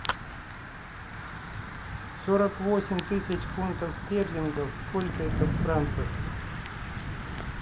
сорок восемь тысяч фунтов стерлингов сколько это в франках